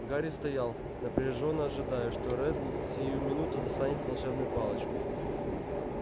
гарри стоял напряжённо ожидая что реддл сию минуту достанет волшебную палочку